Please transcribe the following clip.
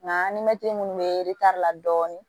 Nka an ni mɛtiri minnu bɛ la dɔɔnin